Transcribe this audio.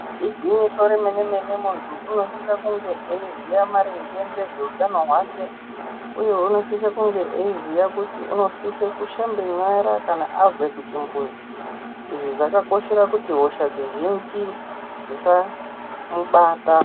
Igwinyiso remene mene muntu unosise kunge eiziya maringe ngezveutano hwake uye unosise kunge eiziya kuti unosise kushambe nyara kana abve kuchimbuzi. Izvi zvakakoshera kuti hosha dzizhinji dzisamubata.